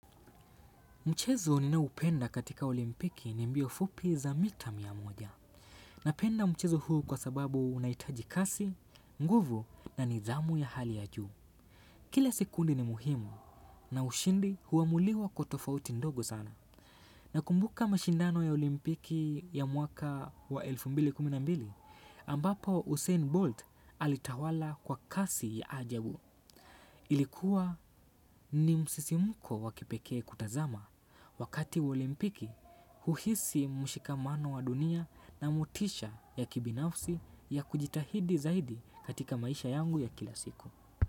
Michezo ninayopenda katika olimpiki ni mbio fupi za mita miamoja. Napenda mchezo huu kwa sababu unaitaji kasi, nguvu na nidhamu ya hali ya juu. Kile sekundi ni muhimu na ushindi huamuliwa kwa tofauti ndogo sana. Nakumbuka mashindano ya olimpiki ya mwaka wa elfu mbili na kumi na mbili ambapo Usain Bolt alitawala kwa kasi ya ajabu. Ilikuwa ni msisimko wa kipeke kutazama wakati wa olimpiki uhisi mushikamano wa dunia na motisha ya kibinafsi ya kujitahidi zaidi katika maisha yangu ya kila siku.